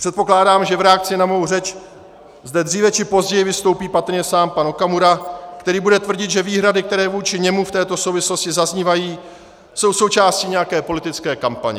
Předpokládám, že v reakci na mou řeč zde dříve či později vystoupí patrně sám pan Okamura, který bude tvrdit, že výhrady, které vůči němu v této souvislosti zaznívají, jsou součástí nějaké politické kampaně.